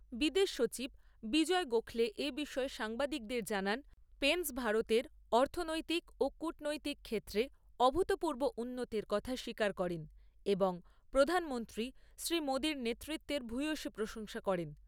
বিদেশ সচিব বিজয় গোখলে এ বিষয়ে সাংবাদিকদের জানান, পেনস ভারতের অর্থনৈতিক ও কূটনৈতিক ক্ষেত্রে অভূতপূর্ব উন্নতির কথা স্বীকার করেন এবং প্রধানমন্ত্রী শ্রীমোদীর নেতৃত্বের ভূয়সী প্রশংসা করেন।